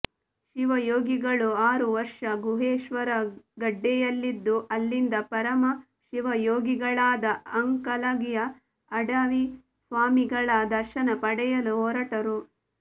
ಶಿವಯೋಗಿಗಳು ಆರುವರ್ಷ ಗುಹೇಶ್ವರಗಡ್ಡೆಯಲ್ಲಿದ್ದು ಅಲ್ಲಿಂದ ಪರಮ ಶಿವಯೋಗಿಗಳಾದ ಅಂಕಲಗಿಯ ಅಡವಿಸ್ವಾಮಿಗಳ ದರ್ಶನ ಪಡೆಯಲು ಹೊರಟರು